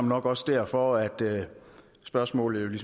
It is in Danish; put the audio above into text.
nok også derfor at spørgsmålet